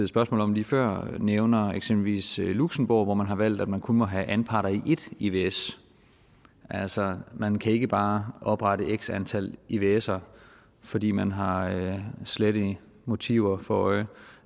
spørgsmål om lige før nævner eksempelvis luxembourg hvor man har valgt at man kun må have anparter i et ivs altså man kan ikke bare oprette x antal ivser fordi man har slette motiver for øje